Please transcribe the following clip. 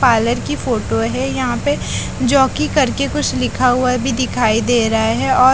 parlour की photo है यहां पे जॉकी करके कुछ लिखा हुआ भी दिखाई दे रहा है और--